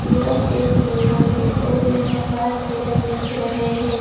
यह एक जंगल है और यहां पांच हिरन दिख रहे हैं।